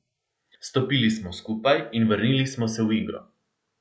Stopili smo skupaj in vrnili smo se v igro.